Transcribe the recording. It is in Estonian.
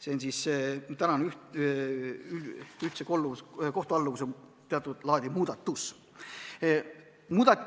See on siis ühtse kohtualluvuse teatud laadi muudatus.